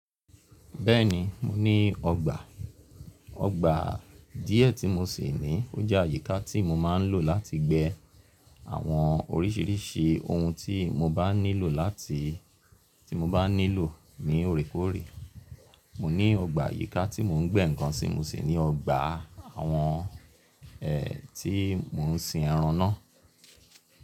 Bẹ́ẹ̀ni, mo ní ọgbà. Ọgbà díẹ̀ tí mo sì ní ó jẹ́ àyíká tí mo máa ń lò láti gbẹ́ àwọn oríṣiríṣi ohun tí mo bá nílò láti tí mo bá nílò ní òrékòrè. Mo ní ọgbà àyíká tí mò ń gbẹ́ nǹkan sí mo sì ní ọgbà àwọn ẹ̀ tí mò ń sin ẹran náà.